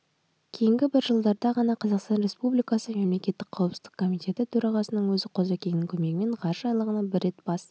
кейінгі бір жылдарда ғана қазақстан республикасы мемлекеттік қауіпсіздік комитеті төрағасының өзі қозыкеңнің көмегімен ғарыш айлағына бір рет бас